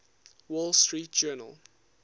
wall street journal